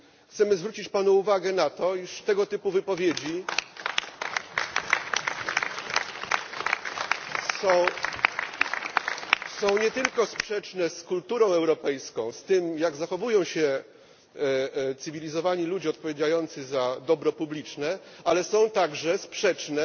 Chcemy zwrócić Panu uwagę na to, iż tego typu wypowiedzi są nie tylko sprzeczne z kulturą europejską, z tym jak zachowują się cywilizowani ludzie odpowiadający za dobro publiczne, ale są także sprzeczne